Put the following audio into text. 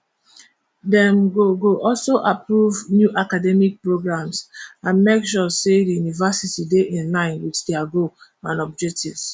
dem go go also approve new academic programs and make sure say di university dey inline wit dia goal and objectives